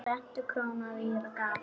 Rentu króna rýra gaf.